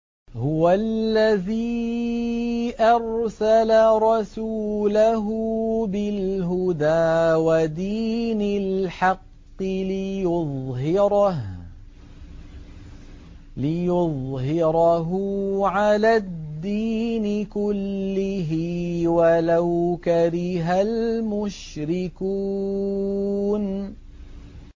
هُوَ الَّذِي أَرْسَلَ رَسُولَهُ بِالْهُدَىٰ وَدِينِ الْحَقِّ لِيُظْهِرَهُ عَلَى الدِّينِ كُلِّهِ وَلَوْ كَرِهَ الْمُشْرِكُونَ